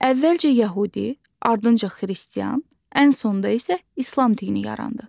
Əvvəlcə yəhudi, ardınca xristian, ən sonda isə İslam dini yarandı.